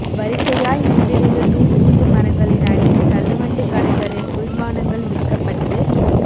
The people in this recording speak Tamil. வரிசையாய் நின்றிருந்த தூங்குமூஞ்சி மரங்களின் அடியில் தள்ளுவண்டிக் கடைகளில் குளிர்பானங்கள் விற்கப்பட்டுக்